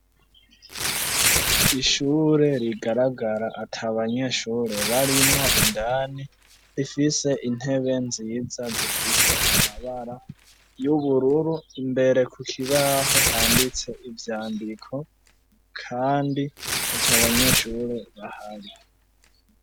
Ishure rigaragara ata banyeshure barimwo, indani rifise intebe nziza zifise amabara y'ubururu, imbere ku kibaho handitse ivyandiko, kandi ata banyeshure bahari.